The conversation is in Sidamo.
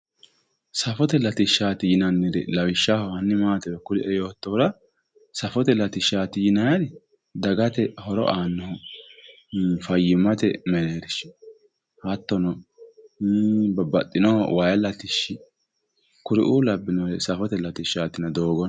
safote latisahshaati yinanniri lawishshaho hanni maatiro kulie yoottohura safote latishshaati yinanniri dagate horo aannohu fayyimmate mereershi hattono wayi mereershi kuriu labbinori safote latishshaati yinanni